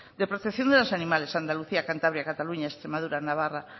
de protección de los animales andalucía cantabria cataluña extremadura navarra